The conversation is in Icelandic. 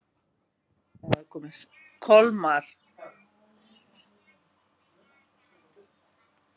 Kolmar